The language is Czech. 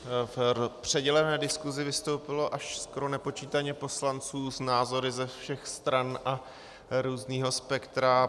V předělené diskusi vystoupilo až skoro nepočítaně poslanců s názory ze všech stran a různého spektra.